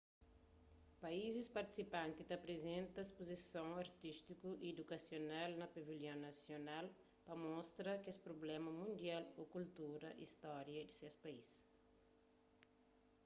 paízis partisipanti ta aprizenta spuzisons artístiku y idukasional na pavilhon nasional pa mostra kesprublémas mundial ô kultura y stória di ses país